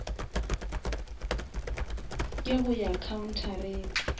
ke go ya khaunthareng